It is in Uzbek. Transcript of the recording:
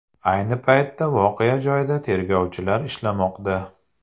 Ayni paytda voqea joyida tergovchilar ishlamoqda.